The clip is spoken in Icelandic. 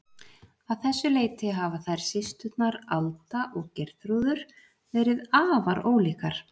Að þessu leyti hafa þær systurnar, Alda og Geirþrúður, verið afar ólíkar.